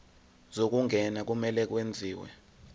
zokungena kumele kwenziwe